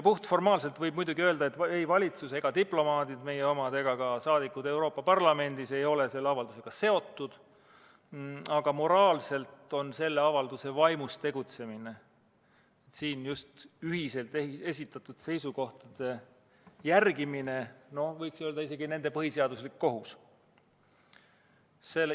Puhtformaalselt võib muidugi öelda, et ei meie valitsus, diplomaadid ega Euroopa Parlamendi liikmed ole selle avaldusega seotud, aga moraalselt on selle avalduse vaimus tegutsemine, just ühiselt esitatud seisukohtade järgimine isegi nende põhiseaduslik kohus.